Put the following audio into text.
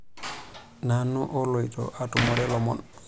Nanu oloito atumore lomon.